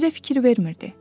Bizə fikir vermirdi.